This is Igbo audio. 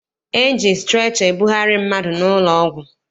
E ji strecha ebugharị mmadụ n'ụlọọgwụ.